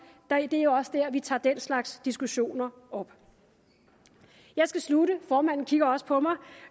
det er jo også der hvor vi tager den slags diskussioner op jeg skal slutte formanden kigger også på mig